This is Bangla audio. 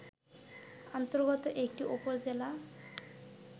অন্তর্গত একটি উপজেলা